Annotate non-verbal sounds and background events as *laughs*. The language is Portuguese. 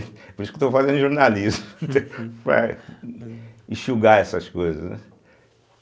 É por isso que estou fazendo jornalismo, *laughs* para enxugar essas coisas, né.